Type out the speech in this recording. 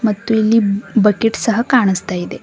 ಮತ್ತು ಇಲ್ಲಿ ಬ ಬಕ್ಕಿಟ್ ಸಹ ಕಾಣಸ್ತ ಇದೆ.